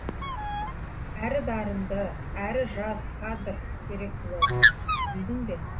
әрі дарынды әрі жас кадр керек бұл орынға білдің бе